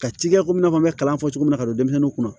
Ka cikɛ ko n'a fɔ n kalan fɔ cogo min na ka don denmisɛnninw kunna